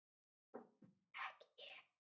Ekki ég!